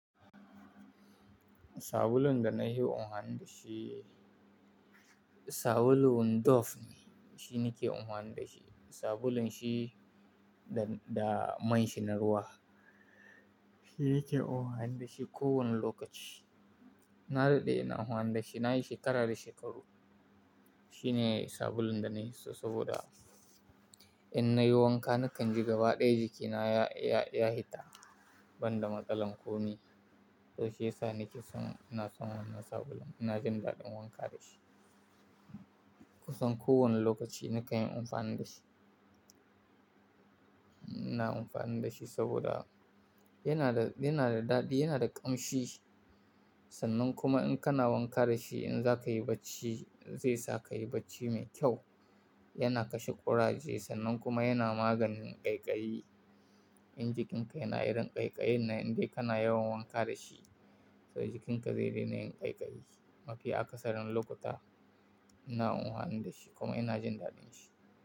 Sabulun da na yi unhani da shi, sabulun Dove ne. Shi ne ke unhani da shi. Sabulun shi da, da man shi na ruwa. Shi yake unhani da shi ko wane lokaci. Na daɗe na unhani da shi, na yi shekara da shekaru. Shi ne sabulun da na hi so saboda in na yi wanka nakan ji gaba ɗaya jikina ya, ya, ya hita banda matsalan komi. To shi yasa ni ke son, ina son wannan sabulun. I na jin daɗin wanka da shi. Kusan ko wanne lokaci nakan yi unfani da shi. Na amfani da shi saboda yana da, yana da daɗi, yana da ƙamshi. Sannan kuma in kana wanka da shi in za ka yi bacci zai sa ka yi bacci mai kyau. Yana kashe ƙuraje sannan kuma yana maganin ƙaiƙayi. In jikinka yana yin ƙaiƙayin nan in dai kana yawan wanka da shi to jikinka zai daina yin ƙaiƙayi. Mafi akasarin lokuta ina uwan da shi kuma ina jin daɗin shi.